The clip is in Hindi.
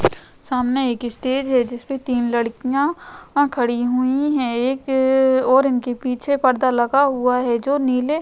सामने एक स्टेज है जिसपे तीन लड़कियां खड़ी हुई हैं। एक ए और इनके पीछे पर्दा लगा हुआ है जो नीले --